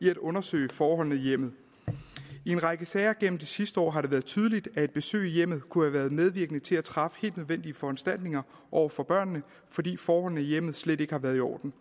i at undersøge forholdene i hjemmet i en række sager igennem de sidste år har det været tydeligt at et besøg i hjemmet kunne have været medvirkende til at træffe helt nødvendige foranstaltninger over for børnene fordi forholdene i hjemmet slet ikke har været i orden